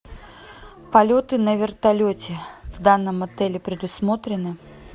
полеты на вертолете в данном отеле предусмотрены